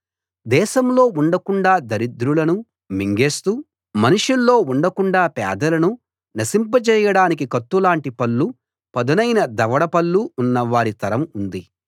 దేశంలో ఉండకుండాా దరిద్రులను మింగేస్తూ మనుషుల్లో ఉండకుండాా పేదలను నశింపజేయడానికి కత్తుల్లాటి పళ్లు పదునైన దవడ పళ్లు ఉన్న వారి తరం ఉంది